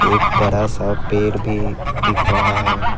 एक बड़ा सा पेड़ भी दिख रहा है।